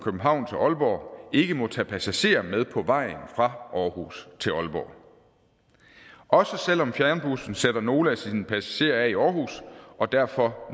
københavn til aalborg ikke må tage passagerer med på vejen fra aarhus til aalborg også selv om fjernbussen sætter nogle af sine passagerer af i aarhus og derfor